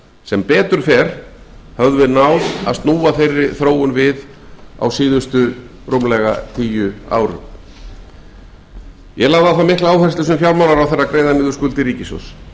sem betur fer höfðum við náð að snúa þeirri þróun við ég lagði á það mikla áherslu sem fjármálaráðherra að greiða niður skuldir ríkissjóðs